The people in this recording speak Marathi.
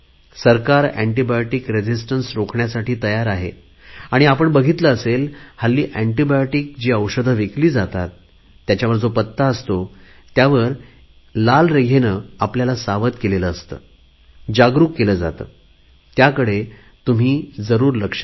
सरकार एन्टीबायोटिक रेझिस्टन्स रोखण्यासाठी तयार आहे आणि आपण बघितले असेल हल्ली एन्टीबायोटिक जी औषधे विकली जातात त्याच्यावर जो पत्ता असतो त्यावर एक लाल रेघेने आपल्याला सावध केले जाते जागरुक केले जाते त्यावर तुम्ही जरुर लक्ष द्या